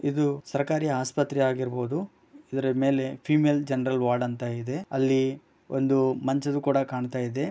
ಇದು ಸರಕಾರಿ ಆಸ್ಪತ್ರೆಗಳು ಆಗಿರಬಹುದು ಇದರ ಮೇಲೆ ಫೀಮೇಲ್ ಜನರಲ್ ವಾರ್ಡ್ ಅಂತ ಇದೆ ಅಲ್ಲಿ ಮಂಚಗಳು ಕೂಡ ಕಾಣಿಸ್ತಾ ಇದೆ.